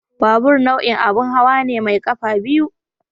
Babur nau'in abin hawa ne mai kafa biyu.